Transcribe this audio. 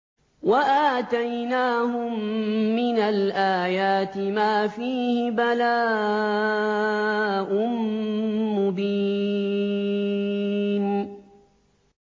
وَآتَيْنَاهُم مِّنَ الْآيَاتِ مَا فِيهِ بَلَاءٌ مُّبِينٌ